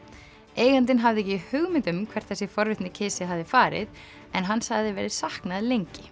eigandinn hafði ekki hugmynd um hvert þessi forvitni kisi hafði farið en hans hafði verið saknað lengi